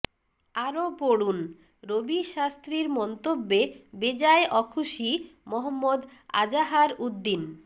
আরও পড়ুন রবি শাস্ত্রীর মন্তব্যে বেজায় অখুশি মহম্মদ আজাহারউদ্দিন